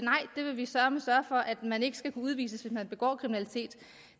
nej vi vil søreme sørge for at man ikke skal kunne udvises hvis man begår kriminalitet